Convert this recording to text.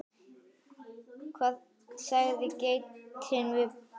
Hvað sagði geitin við Bótólf?